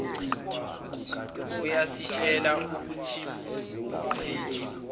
iyasitshela ukuthiumphenyi waqoqa